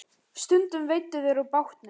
Stundum veiddu þeir úr bátnum.